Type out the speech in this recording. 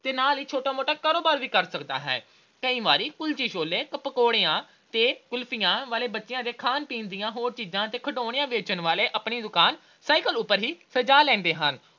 ਤੇ ਨਾਲ ਹੀ ਛੋਟਾ-ਮੋਟਾ ਕਾਰੋਬਾਰ ਵੀ ਕਰ ਸਕਦਾ ਹੈ । ਕਈ ਵਾਰੀ ਕੁਲਚੇ-ਛੋਲੇ ਤੇ ਪਕੌੜਿਆਂ ਤੇ ਕੁਲਫੀਆਂ ਤੇ ਬੱਚਿਆਂ ਦੇ ਖਾਣ-ਪੀਣ ਦੀਆਂ ਹੋਰ ਚੀਜਾਂ ਤੇ ਖਿਡੌਣੇ ਵੇਚਣ ਵਾਲੇ ਆਪਣੀ ਦੁਕਾਨ cycle ਉਪਰ ਹੀ ਸਜਾ ਲੈਂਦੇ ਹਨ।